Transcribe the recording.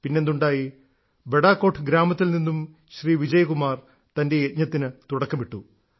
പിന്നെ എന്തുണ്ടായി ബഡാകോട്ട് ഗ്രാമത്തിൽ നിന്നും ശ്രീ വിജയ്കുമാർ തന്റെ യജ്ഞത്തിന് തുടക്കമിട്ടു